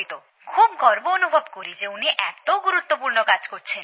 খুব গর্ব অনুভব করি যে উনি এতো গুরুত্বপূর্ণ কাজ করছেন